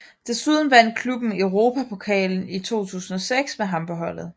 Desuden vandt klubben Europapokalen i 2006 med ham på holdet